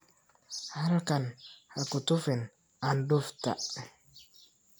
Halkan ha ku tufin candufta.